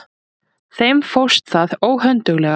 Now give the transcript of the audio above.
Þeim fórst það óhönduglega.